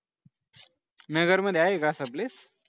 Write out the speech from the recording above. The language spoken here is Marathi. नगरमध्ये आहे का असं place